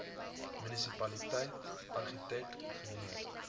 munisipaliteit argitek ingenieur